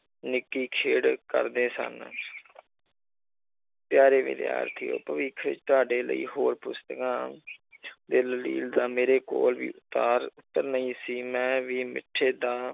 ਨਿੱਕੀ ਖੇਡ ਕਰਦੇ ਸਨ ਪਿਆਰੇ ਵਿਦਿਆਰਥੀਓ ਭਵਿੱਖ ਤੁਹਾਡੇ ਲਈ ਹੋਰ ਪੁਸਤਕਾਂ ਦਲੀਲ ਦਾ ਮੇਰੇ ਕੋਲ ਉੱਤਰ ਨਹੀਂ ਸੀ ਮੈਂ ਵੀ ਦਾ